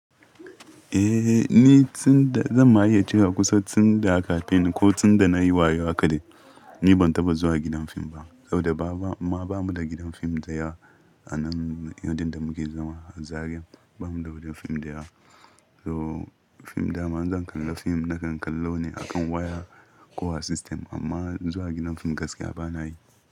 Eh, ni tunda, zan ma iya cewa kusa tunda aka haife ni ko tun da na yi wayo haka dai ni ban taɓa zuwa gidan fim ba. Saboda ba ma, ba mu da gidan fim daya a nan inda muke zama, a Zaria ba mu da gidan fim daya. So fim dama zan kalla fim nakan kalla ne akan waya, kowa sistem amma zuwa gidan fim gaskiya ba na yi.